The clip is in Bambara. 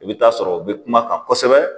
I bɛ taa sɔrɔ u bɛ kuma kan kosɛbɛ